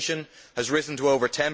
inflation has risen to over